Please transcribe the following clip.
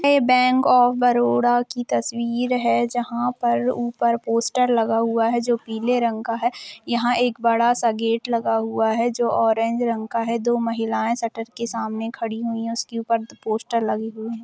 यह bank of Baroda की तस्वीर है जहाँ पर ऊपर पोस्टर लगा हुआ है जो पीले रंग का है यहाँ एक बड़ा सा गेट लगा हुआ है जो ऑरेंज रंग का है दो महिलायें शटर के सामने खड़ी हुई है उसके ऊपर पोस्टर लगी हुई है।